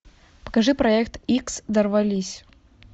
покажи проект икс дорвались